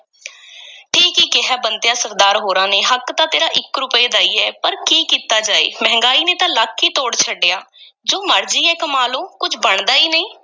ਠੀਕ ਈ ਕਿਹਾ ਏ, ਬੰਤਿਆ, ਸਰਦਾਰ ਹੋਰਾਂ ਨੇ ਹੱਕ ਤਾਂ ਤੇਰਾ ਇੱਕ ਰੁਪਏ ਦਾ ਈ ਐ, ਪਰ ਕੀ ਕੀਤਾ ਜਾਏ ਮਹਿੰਗਾਈ ਨੇ ਤਾਂ ਲੱਕ ਈ ਤੋੜ ਛੱਡਿਆ ਜੋ ਮਰਜ਼ੀ ਐ ਕਮਾ ਲਓ, ਕੁਝ ਬਣਦਾ ਈ ਨਹੀਂ।